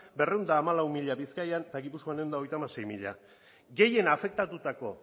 berrehun eta hamalau mila bizkaian eta gipuzkoan ehun eta hogeita hamasei mila gehien afektatutako